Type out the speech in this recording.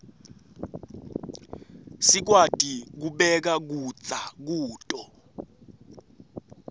sikwati kubeka kudza kuto